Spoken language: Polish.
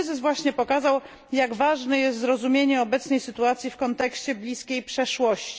Ten kryzys właśnie pokazał, jak ważne jest zrozumienie obecnej sytuacji w kontekście bliskiej przeszłości.